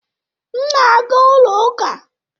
M na-aga ụlọ ụka.